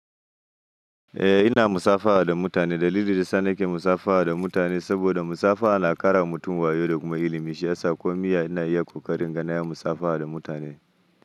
Eh ina musafaha da mutane. Dalilin da ya sa nake musafaha da mutane saboda musafaha na ƙara wa mutum wayo da kuma ilimi. Shiyasa komiya ina iya ƙoƙari in ganaya musafaha da mutane.